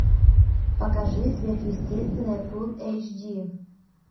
покажи сверхъестественное фул эйч ди